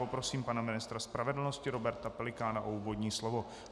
Poprosím pana ministra spravedlnosti Roberta Pelikána o úvodní slovo.